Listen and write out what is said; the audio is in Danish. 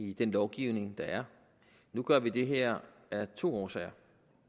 i den lovgivning der er nu gør vi det her af to årsager